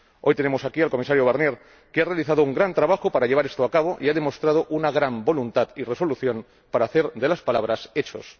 Hoy tenemos aquí al Comisario Barnier, que ha realizado un gran trabajo para llevar esto a cabo y ha demostrado una gran voluntad y resolución para hacer de las palabras hechos.